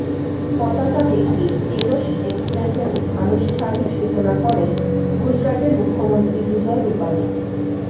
পতাকা দেখিয়ে তেজস এক্সপ্রেসের আনুষ্ঠানিক সূচনা করেন গুজরাতের মুখ্যমন্ত্রী বিজয় রূপানি